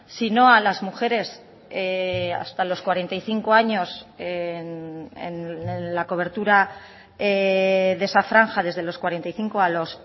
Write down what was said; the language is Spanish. si no a las mujeres hasta los cuarenta y cinco años en la cobertura de esa franja desde los cuarenta y cinco a los